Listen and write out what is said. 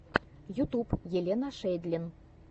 ютуб елена шейдлин